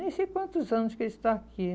Nem sei quantos anos que ele está aqui.